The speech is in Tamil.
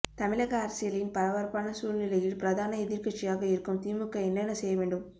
தமிழக அரசியலின் பரபரப்பான சூழ்நிலையில் பிரதான எதிர்க்கட்சியாக இருக்கும் திமுக என்னென்ன செய்ய வேண்டும்